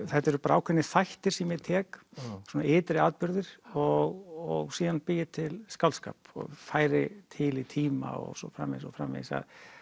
þetta eru bara ákveðnir þættir sem ég tek svona ytri atburðir og síðan bý ég til skáldskap og færi til í tíma og svo framvegis framvegis